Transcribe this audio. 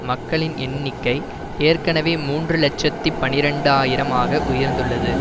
மக்களின் எண்ணிக்கை ஏற்கனவே மூன்று இலட்சத்தி பனிரண்டு ஆயிரம் ஆக உயர்ந்துள்ளது